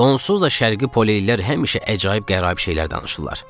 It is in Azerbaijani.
Onsuz da şərqi poleylər həmişə əcaib qəraib şeylər danışırlar.